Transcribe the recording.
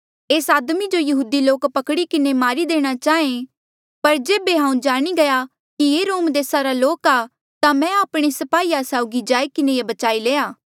एस आदमी जो यहूदी लोक पकड़ी किन्हें मारी देणा चाहेया पर जेबे हांऊँ जाणी गया कि ये रोम देसा रा लोक आ ता मैं आपणे स्पाहीया साउगी जाई किन्हें ये बचाई लया